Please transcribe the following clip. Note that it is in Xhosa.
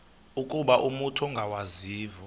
ukuba umut ongawazivo